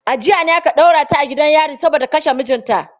A jiya ne aka ɗaure ta a gidan yari saboda ta kashe mijinta.